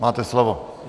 Máte slovo.